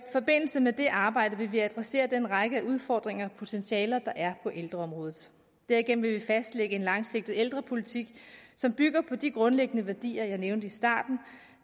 forbindelse med det arbejde vil vi adressere den række af udfordringer og potentialer der er på ældreområdet derigennem vil vi fastlægge en langsigtet ældrepolitik som bygger på de grundlæggende værdier jeg nævnte i starten